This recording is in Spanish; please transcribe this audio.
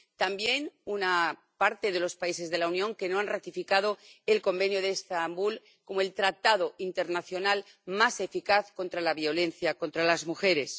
También una parte de los países de la Unión no ha ratificado el Convenio de Estambul como el tratado internacional más eficaz contra la violencia contra las mujeres.